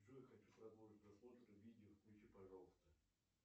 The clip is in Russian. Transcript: джой хочу продолжить просмотр видео включи пожалуйста